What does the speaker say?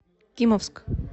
кимовск